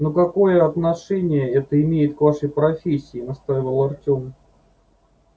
но какое отношение это имеет к вашей профессии настаивал артем